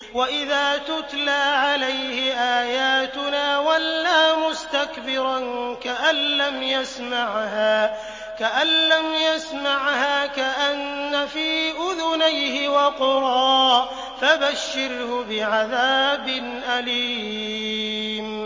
وَإِذَا تُتْلَىٰ عَلَيْهِ آيَاتُنَا وَلَّىٰ مُسْتَكْبِرًا كَأَن لَّمْ يَسْمَعْهَا كَأَنَّ فِي أُذُنَيْهِ وَقْرًا ۖ فَبَشِّرْهُ بِعَذَابٍ أَلِيمٍ